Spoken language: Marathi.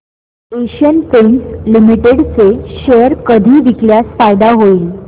एशियन पेंट्स लिमिटेड चे शेअर कधी विकल्यास फायदा होईल